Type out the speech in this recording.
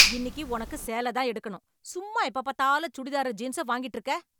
இன்னிக்கு உனக்கு சேல தான் எடுக்கணும், சும்மா எப்ப பாத்தாலும் சுடிதாரும் ஜீன்சும் வாங்கிட்டுருக்க.